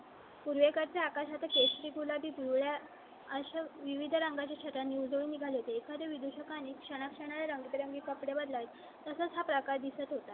उल्लेखा च्या आकाशात केशरी, गुलाबी, पिवळा अशा विविध रंगा ची छटा ने उजळून निघाले. ते एखाद्या विदेशी आणि क्षणाक्षणा रंगीबेरंगी कपडे बदलाय तसाच हा प्रकार दिसत होता.